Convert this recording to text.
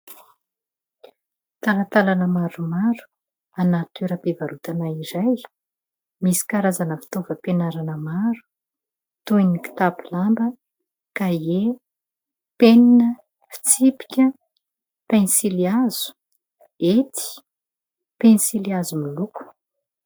Talantalana maromaro anaty toeram-pivarotana iray. Misy karazana fitaovam-pianarana maro toy ny kitapo lamba, kahie, penina, fitsipika, pensily hazo, hety, pensily hazo miloko.